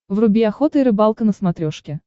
вруби охота и рыбалка на смотрешке